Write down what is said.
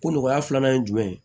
Ko nɔgɔya filanan ye jumɛn ye